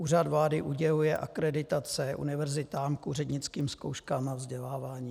Úřad vlády uděluje akreditace univerzitám k úřednickým zkouškám a vzdělávání.